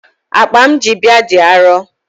Akpa m ji bịa dị arọ.